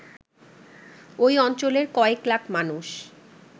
ঐ অঞ্চলের কয়েক লাখ মানুষ